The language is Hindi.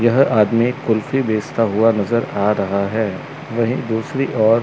यह आदमी कुल्फी बेचता हुआ नजर आ रहा है वहीं दूसरी ओर--